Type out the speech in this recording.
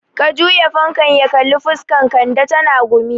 Ka juya fankan ya kalli fuskan Kande, tana gumi